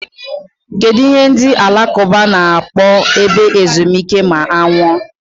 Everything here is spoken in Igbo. Kedụ ihe ndị alakụba na-akpọ ebe ezumike ma a nwụọ?